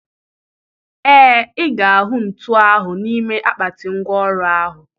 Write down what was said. Ee, ị ga-ahụ ntu ahụ n'ime akpati ngwá ọrụ ahụ.